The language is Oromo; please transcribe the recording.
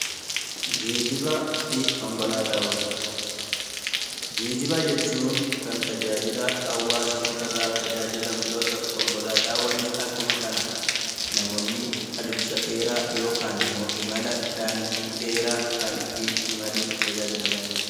Geejjiba jechuun kan tajaajila hawaasni irraa tajaajilamu yoo ta'u, konkolaataawwanis akkuma kana namoonni adeemsa dheeraa yookaan immoo imala daandii dheeraa kan ittiin imaluun tajaajilamanidha.